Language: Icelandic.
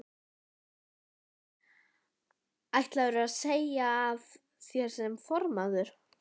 Þulur: Ætlarðu að segja af þér sem formaður?